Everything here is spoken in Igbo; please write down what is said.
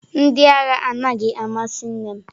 Ndị agha anaghị amasị nnem.